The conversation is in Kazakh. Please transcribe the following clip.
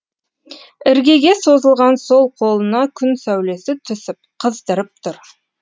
іргеге созылған сол қолына күн сәулесі түсіп қыздырып тұр